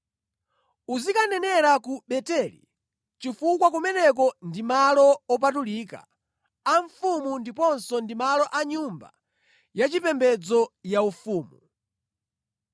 Usanenerenso ku Beteli, chifukwa kumeneko ndi malo opatulika a mfumu ndiponso ndi malo a nyumba yachipembedzo yaufumu.”